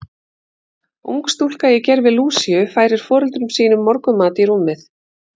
Ung stúlka í gervi Lúsíu færir foreldrum sínum morgunmat í rúmið.